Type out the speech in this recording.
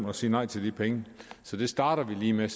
at sige nej til de penge så det starter vi lige med